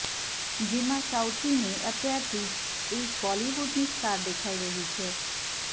જેમાં સાઉથીને અત્યારથી જ એક બોલિવૂડની સ્ટાર દેખાઈ રહી છે